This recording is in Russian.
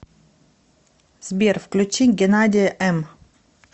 сбер включи геннадия эм